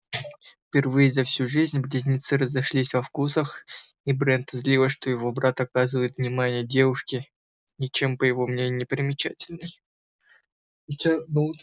впервые за всю жизнь близнецы разошлись во вкусах и брента злило что его брат оказывает внимание девушке ничем по его мнению не примечательной